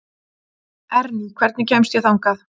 Emý, hvernig kemst ég þangað?